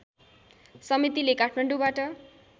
समितिले काठमाडौँबाट